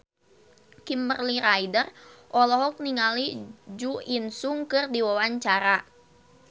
Kimberly Ryder olohok ningali Jo In Sung keur diwawancara